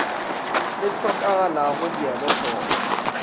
le hlokagalago di elwe hloko